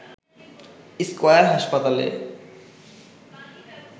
square হাসপাতালে